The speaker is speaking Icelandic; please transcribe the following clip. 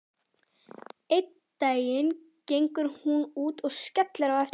Einn daginn gengur hún út og skellir á eftir sér.